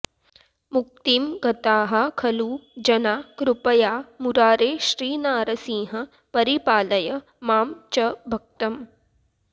मुक्तिं गताः खलु जना कृपया मुरारे श्रीनारसिंह परिपालय मां च भक्तम्